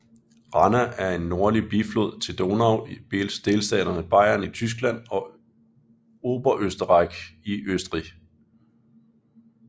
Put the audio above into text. Ranna er en nordlig biflod til Donau i delstaterne Bayern i Tyskland og Oberösterreich i Østrig